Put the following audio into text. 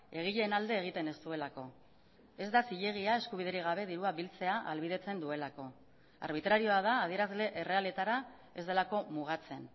egileen alde egiten ez duelako ez da zilegia eskubiderik gabe dirua biltzea ahalbidetzen duelako arbitrarioa da adierazle errealetara ez delako mugatzen